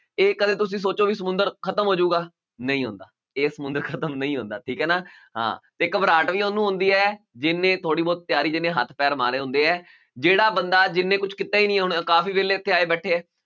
ਇਹ ਕਦੇ ਤੁਸੀਂ ਸੋਚੋ ਵੀ ਸਮੁੰਦਰ ਖ਼ਤਮ ਹੋ ਜਾਊਗਾ, ਨਹੀਂ ਹੁੰਦਾ ਇਹ ਸਮੁੰਦਰ ਖ਼ਤਮ ਨਹੀਂ ਹੁੰਦਾ ਠੀਕ ਹੈ ਨਾ ਹਾਂ, ਤੇ ਘਬਰਾਹਟ ਵੀ ਉਹਨੂੰ ਹੁੰਦੀ ਹੈ ਜਿਹਨੇ ਥੋੜ੍ਹੀ ਬਹੁਤ ਤਿਆਰੀ ਜਿਹਨੇ ਹੱਥ ਪੈਰ ਮਾਰੇ ਹੁੰਦੇ ਹੈ, ਜਿਹੜਾ ਬੰਦਾ ਜਿਹਨੇ ਕੁਛ ਕੀਤਾ ਹੀ ਨੀ ਹੁਣ ਕਾਫ਼ੀ ਵਿਹਲੇ ਇੱਥੇ ਆਏ ਬੈਠੇ ਹੈ,